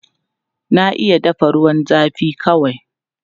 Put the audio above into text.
Na iya dafa ruwan zafi kawai.